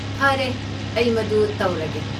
ꯐꯔꯦ, ꯑꯩ ꯃꯗꯨ ꯇꯧꯔꯒꯦ꯫